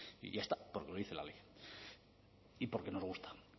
y ya está porque lo dice la ley y porque nos gusta